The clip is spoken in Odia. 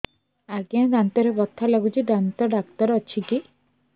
ଆଜ୍ଞା ଦାନ୍ତରେ ବଥା ଲାଗୁଚି ଦାନ୍ତ ଡାକ୍ତର ଅଛି କି